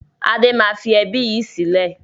Adé máa fi ẹbí yìí sílẹ̀